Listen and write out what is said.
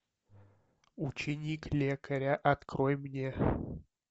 ученик лекаря открой мне